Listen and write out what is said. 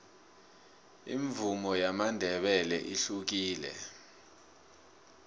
imvumo yamandebele ihlukile